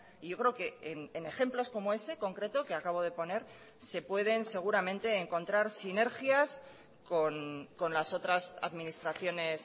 y yo creo que en ejemplos como ese concreto que acabo de poner se pueden seguramente encontrar sinergias con las otras administraciones